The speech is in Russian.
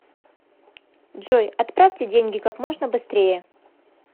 джой отправьте деньги как можно быстрее